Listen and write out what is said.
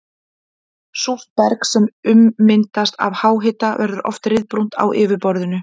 Súrt berg sem ummyndast af háhita verður oft ryðbrúnt á yfirborði.